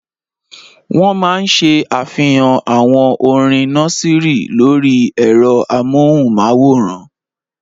Wọ́n máa ṣe àfihàn àwọn orin nọ́síìrì lórí ẹ̀rọ amóhùnmáwòrán.